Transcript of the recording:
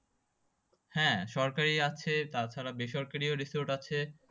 হ্যাঁ সরকারি আছে তাছাড়া বেসরকারিও resort আছে।